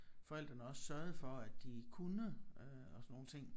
Forældrene også sørget for at de kunne øh og sådan nogle ting